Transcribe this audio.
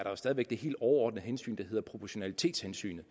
jo stadig væk det helt overordnede hensyn der hedder proportionalitetshensynet